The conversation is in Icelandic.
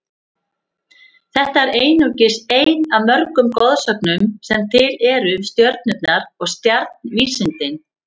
Þetta er einungis ein af mörgum goðsögnum sem til eru um stjörnurnar og stjarnvísindin.